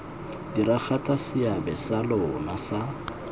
diragatsa seabe sa lona sa